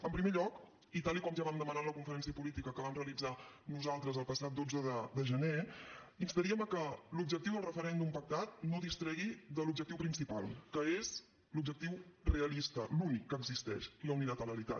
en primer lloc i tal com ja vam demanar en la conferència política que vam realitzar nosaltres el passat dotze de gener instaríem a que l’objectiu del referèndum pactat no distregui de l’objectiu principal que és l’objectiu realista l’únic que existeix la unilateralitat